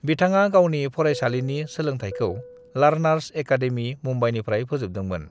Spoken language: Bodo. "बिथाङा गावनि फरायसालिनि सोलोंथायखौ लर्नर्स अकादमि, मुंबईनिफ्राय फोजोबदोंमोन।"